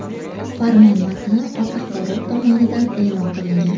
Farmon matni O‘zA tomonidan e’lon qilingan .